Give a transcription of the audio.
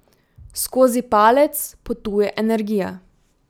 Skozi palec potuje energija.